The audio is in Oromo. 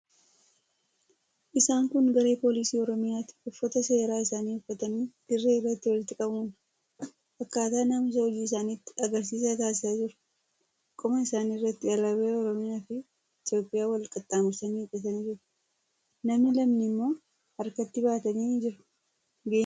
Isaan kun garee poolisii Oromiyaati. Uffata seeraa isaanii uffatanii dirree irratti walitti qabamuun akkaataa naamusa hojii isaaniitti agarsiisa taasisaa jiru. Qoma isaanii irratti alaabaa Oromiyaafi Itiyoophiyaa wal qaxxaamursanii hidhatanii jiru. Namni lamni immoo harkatti baatanii jiru. Gaheen poolisii Oromiyaa maalidha?